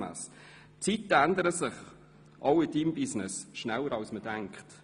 Die Zeiten ändern sich, auch in deinem Business, schneller als man denkt.